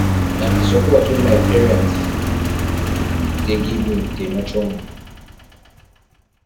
na di support wey my parents dey give me dey nurture me